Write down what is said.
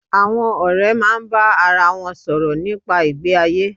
Àwon òré máa bá ara won sòrò nípa ìgbé ayé